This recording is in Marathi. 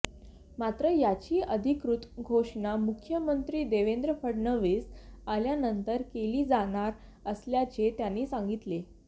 मात्र याची अधिकृत घोषणा मुख्यमंत्री देवेंद्र फडणवीस आल्यानंतर केली जाणार असल्याचे त्यांनी सांगितले